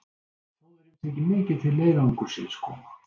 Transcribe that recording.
Þjóðverjum þykir mikið til leiðangursins koma.